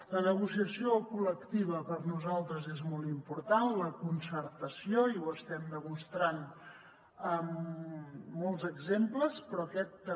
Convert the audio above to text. la negociació col·lectiva per nosaltres és molt important la concertació i ho estem demostrant amb molts exemples però aquest també